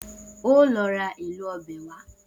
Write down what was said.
O óò lo̩ ra èlò o̩bè̩ wá!